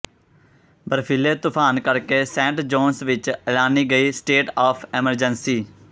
ਬਰਫੀਲੇ ਤੂਫਾਨ ਕਰਕੇ Saint John's ਵਿੱਚ ਐਲਾਨੀ ਗਈ ਸਟੇਟ ਆਫ ਐਮਰਜੈਂਸੀ